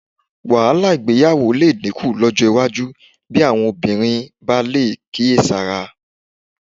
Wàhálà ìgbéyàwó lè dínkù lọ́jọ́ iwájú bí àwọn obìnrin bá lè kíyèsára